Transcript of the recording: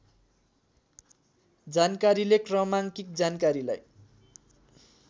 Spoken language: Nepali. जानकारीले क्रमाङ्किक जानकारीलाई